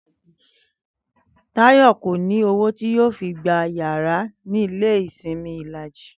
Táyò̩ kò ní owó tí yóò fi gba yàrá ní ilé ìsimi Ìlàjì